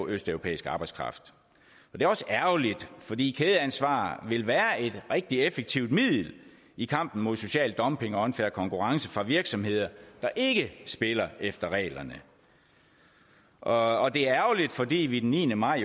af østeuropæisk arbejdskraft det er også ærgerligt fordi kædeansvar vil være et rigtig effektivt middel i kampen mod social dumping og en unfair konkurrence for virksomheder der ikke spiller efter reglerne og det er ærgerligt fordi vi den niende maj